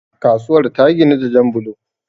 kasuwar ta ginu da Jan bulo